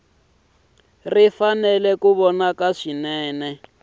ri fanele ku vonaka swinene